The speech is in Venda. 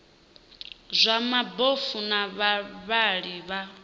zwa mabofu na vhavhali vha